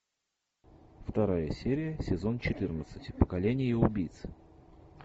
вторая серия сезон четырнадцать поколение убийц